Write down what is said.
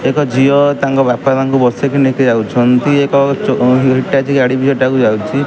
ଏକ ଝିଅ ତାଙ୍କ ବାପା ମା ଙ୍କୁ ବସେଇକି ନେଇକି ଯାଉଛନ୍ତି। ଏକ ଚ ହିଟାଚି ଗାଡ଼ି ବି ହେଟାକୁ ଯାଉଛି।